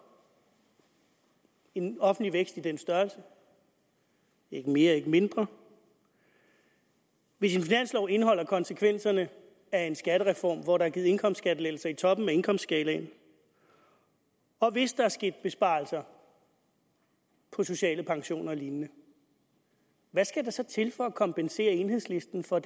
en offentlig vækst i den størrelse ikke mere ikke mindre hvis en finanslov indeholder konsekvenserne af en skattereform hvor der er givet indkomstskattelettelser i toppen af indkomstskalaen og hvis der er sket besparelser på sociale pensioner og lignende hvad skal der så til for at kompensere enhedslisten for